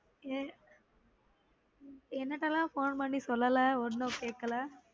என் உம் எனட்டலான் phone பண்ணி சொல்லல ஒன்னும் கேக்கல